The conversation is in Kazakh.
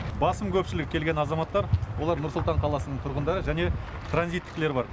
басым көпшілігі келген азаматтар олар нұр сұлтан қаласының тұрғындары және транзиттікілер бар